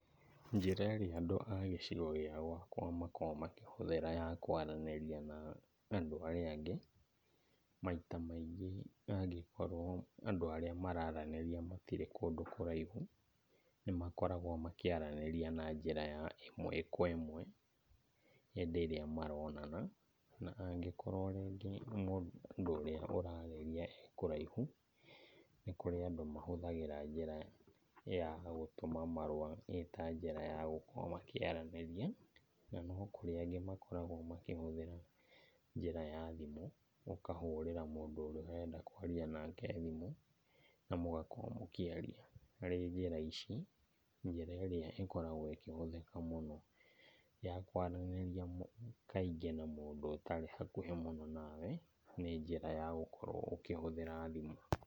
Njĩra ĩrĩa andũ a gĩcigo gĩa gwakwa makoragwo makĩhũthĩra ya kwaranĩria na andũ arĩa angĩ, maita maingĩ angĩkorwo andũ arĩa maraaranĩria matirĩ kũndũ kũraihu, nĩmakoragwo makĩaranĩria na njĩra ya ĩmwe kwa ĩmwe hĩndĩ ĩrĩa maronana. Na angĩkorwo rĩngĩ mũndũ ũria ũrarĩria e kũraihu, nĩ kũrĩ andũ mahũthagĩra njĩra ya gũtũma marũa ĩ ta njĩra ya gũkorwo makĩaranĩria. Na no kũrĩ angĩ makoragwo makĩhũthĩra njĩra ya thimũ, ũkahũrĩra mundũ ũrĩa ũrenda kwaria nake thimũ na mũgakorwo mũkĩaria. Harĩ njĩra ici, njĩra ĩrĩa ĩkoragwo ĩkĩhũthĩka mũno ya kwaranĩria kaingĩ na mũndũ ũndũ tarĩ hakuhĩ mũno nawe, nĩ njĩra ya gũkorwo ũkĩhũthĩra thimũ.